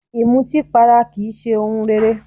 Ìmutípara kì í ṣe ohun rere